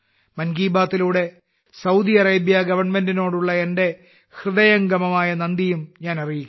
മൻ കി ബാത്തിലൂടെ Saudi Arabia ഗവൺമെന്റിനോടുള്ള എന്റെ ഹൃദയംഗമമായ നന്ദിയും ഞാൻ അറിയിക്കുന്നു